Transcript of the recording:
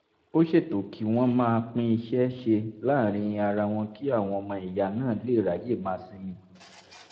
ó ṣètò kí wọ́n máa pín iṣẹ́ ṣe láàárín ara wọn kí àwọn ọmọ ìyá náà lè ráyè máa sinmi